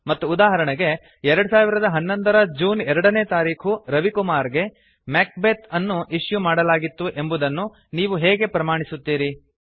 ಮತ್ತು ಉದಾಹರಣೆಗೆ 2011ರ ಜೂನ್ 2 ನೇ ತಾರೀಖು ರವಿಕುಮಾರ್ ಗೆ ಮ್ಯಾಕ್ಬೆತ್ ಅನ್ನು ಇಶ್ಯೂ ಮಾಡಲಾಗಿತ್ತು ಎಂಬುದನ್ನು ನೀವು ಹೇಗೆ ಪ್ರಮಾಣಿಸುತ್ತೀರಿ160